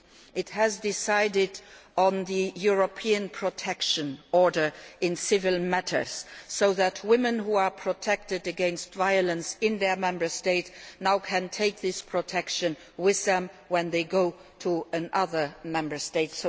It has endorsed the European protection order in civil matters, so women who are protected against violence in their Member State can now take this protection with them when they go to another Member State.